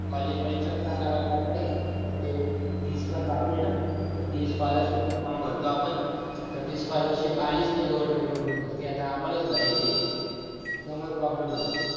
college मध्ये चक्करा माराय लावतायत तर ते fees पण बाकी आहे ना तर ती scholarship चा form भरतो आपण तर ती scholarship आली च नाही government कडून तर ती आता आमला च भरायची हाय त्यामुळे problem झाला.